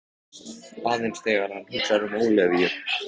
Bros Brynjólfs myrkvast aðeins þegar hann hugsar um Ólafíu.